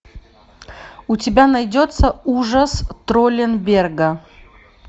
у тебя найдется ужас тролленберга